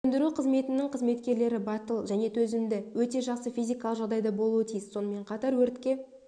сөндіру қызметінің қызметкерлері батыл және төзімді өте жақсы физикалық жағдайда болуы тиіс сонымен қатар өртке